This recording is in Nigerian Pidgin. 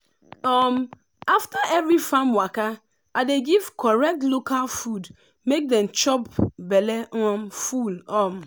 um after every farm waka i dey give correct local food make dem chop belle um full. um